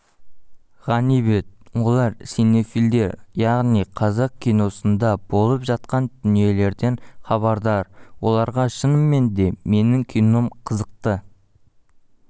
ғанибет олар синефилдер яғниқазақ киносында болып жатқан дүниелерден хабардар оларға шынымен де менің кином қызықты